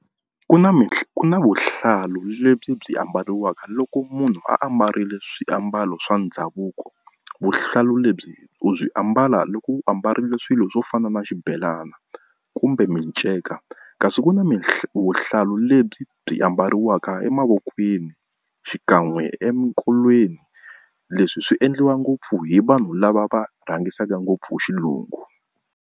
Ku na ku na vuhlalu lebyi ambariwaka loko munhu a ambarile swiambalo swa ndhavuko. Vuhlalu lebyi u byi ambala loko u ambarile swilo swo fana na xibelana kumbe miceka, kasi ku na mihlovo vuhlalu lebyi byi ambariwaka emavokweni xikan'we emikolweni. Leswi swi endliwa ngopfu hi vanhu lava va rhangisaka ngopfu xilungu.